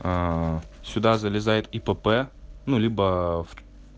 сюда залезает ипп ну либо